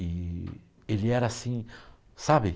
E ele era assim, sabe?